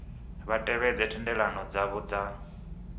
vha tevhedze thendelano dzavho dza